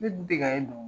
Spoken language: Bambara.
Ne dun tɛ ka ye nɔ